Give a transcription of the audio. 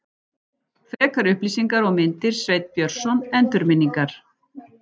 Frekari upplýsingar og myndir Sveinn Björnsson, Endurminningar.